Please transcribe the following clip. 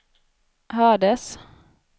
hördes